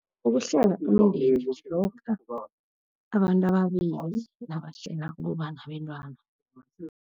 Ukuhlela umndeni ngilokha abantu ababili nabahlela ukuba nabentwana.